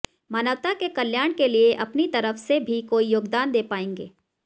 मानवता के कल्याण के लिए अपने तरफ से भी कोई योगदान दे पाएँगे